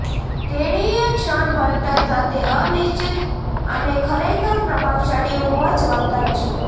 તેણીએ ક્ષણભરતા સાથે અનિચ્છિત અને ખરેખર પ્રભાવશાળી હોવા જવાબદાર છે